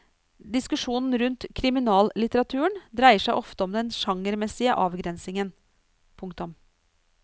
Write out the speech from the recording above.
Diskusjonen rundt kriminallitteraturen dreier seg ofte om den sjangermessige avgrensingen. punktum